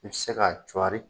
I bɛ se ka cuwari.